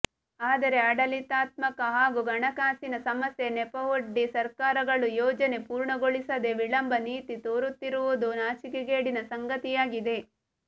ಆದರೆ ಆಡಳಿತಾತ್ಮಕ ಹಾಗೂ ಹಣಕಾಸಿನ ಸಮಸ್ಯೆ ನೆಪವೊಡ್ಡಿ ಸರ್ಕಾರಗಳು ಯೋಜನೆ ಪೂರ್ಣಗೊಳಿಸದೇ ವಿಳಂಬ ನೀತಿ ತೋರುತ್ತಿರುವುದು ನಾಚಿಕೆಗೇಡಿನ ಸಂಗತಿಯಾಗಿದೆ